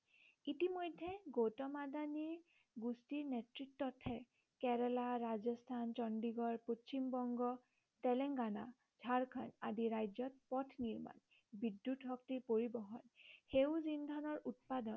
ইতিমধ্য়ে গৌতম আদানী গোষ্ঠীৰ নেতৃত্বতহে কেৰেলা ৰাজস্থান চণ্ডীগড় পশ্চিম বংগ তেলেংগানা ঝাৰখণ্ড আদি ৰাজ্য়ত পথ নিৰ্মাণ বিদ্য়ুৎ শক্তিৰ পৰিবহণ সেউজ ইন্ধনৰ উৎপাদন